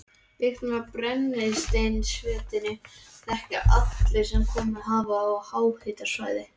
Lyktina af brennisteinsvetni þekkja allir sem komið hafa á háhitasvæði.